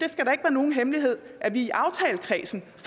nogen hemmelighed at vi i aftalekredsen